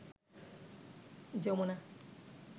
Jamuna